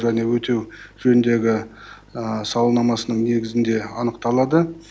және өтеу жөніндегі сауалнамасының негізінде анықталады